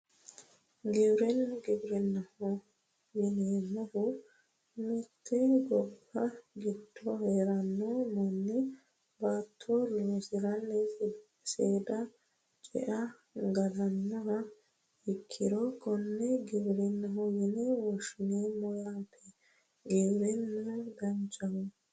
Giwirinna giwirinnaho yineemmohu mitte gobba giddo heeranno manni baatto loosirenna saada ce"e galannoha ikkiro konne giwirinnaho yine woshshineemmo yaate giwirinnu danchaho